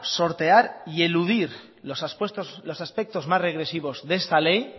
sortear y eludir los aspectos más regresivos de esta ley